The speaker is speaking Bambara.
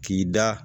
K'i da